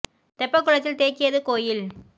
தெப்பக்குளத்தில் தேக்கியது கோயில்